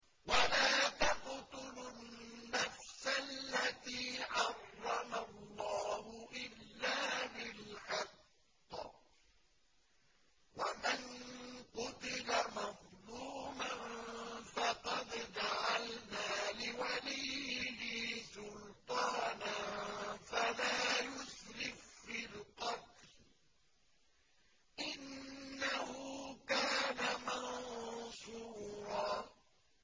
وَلَا تَقْتُلُوا النَّفْسَ الَّتِي حَرَّمَ اللَّهُ إِلَّا بِالْحَقِّ ۗ وَمَن قُتِلَ مَظْلُومًا فَقَدْ جَعَلْنَا لِوَلِيِّهِ سُلْطَانًا فَلَا يُسْرِف فِّي الْقَتْلِ ۖ إِنَّهُ كَانَ مَنصُورًا